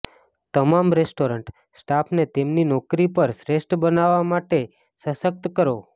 તમારા રેસ્ટોરન્ટ સ્ટાફને તેમની નોકરી પર શ્રેષ્ઠ બનવા માટે સશક્ત કરો